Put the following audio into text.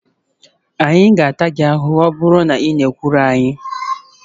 Anyị ga-ata gị ahụhụ ma ọ bụrụ na ị na-ekwulu anyị